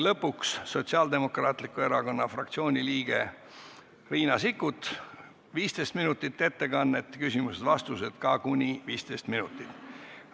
Lõpuks, Sotsiaaldemokraatliku Erakonna fraktsiooni liige Riina Sikkut, ettekanne 15 minutit ja küsimused-vastused ka kuni 15 minutit.